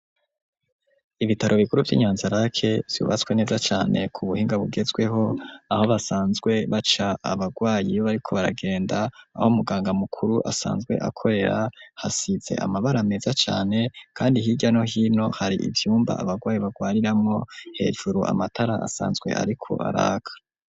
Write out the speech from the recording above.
ibitaro bikuru by'inyanzarake byubatswe neza cane ku buhinga bugezweho aho basanzwe baca abagwayi bariko baragenda aho muganga mukuru asanzwe akorera hasize amabara meza cane kandi hirya no hino hari ibvyumba abagwayi bagwariramwo hejuru amatara asanzwe ariko araka.